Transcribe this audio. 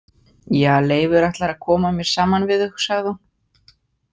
Ja, Leifur ætlar að koma mér saman við þau, sagði hún.